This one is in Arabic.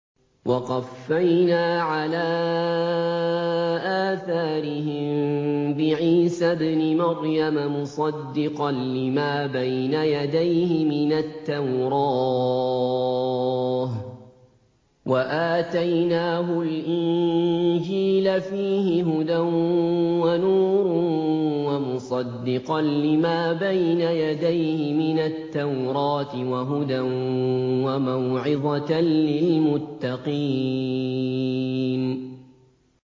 وَقَفَّيْنَا عَلَىٰ آثَارِهِم بِعِيسَى ابْنِ مَرْيَمَ مُصَدِّقًا لِّمَا بَيْنَ يَدَيْهِ مِنَ التَّوْرَاةِ ۖ وَآتَيْنَاهُ الْإِنجِيلَ فِيهِ هُدًى وَنُورٌ وَمُصَدِّقًا لِّمَا بَيْنَ يَدَيْهِ مِنَ التَّوْرَاةِ وَهُدًى وَمَوْعِظَةً لِّلْمُتَّقِينَ